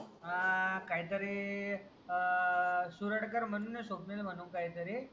अं काही तरी अं सूरडकर म्हणून आहे स्वप्नील म्हणून काही तरी